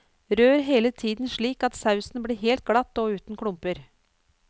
Rør hele tiden slik at sausen blir helt glatt og uten klumper.